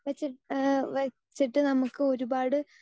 speaker 2 വെച്ച് ഏഹ് വെച്ചിട്ട് നമുക്ക് ഒരുപാട്